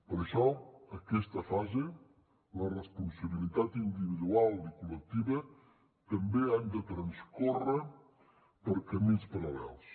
per això en aquesta fase la responsabilitat individual i col·lectiva també han de transcórrer per camins paral·lels